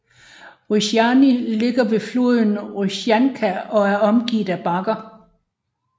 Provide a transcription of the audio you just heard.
Ruzjany ligger ved floden Ruzjanka og er omgivet af bakker